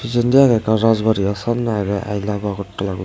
pijadi agey ekkan Rajbari ah samnay agey aai love Agartala guri.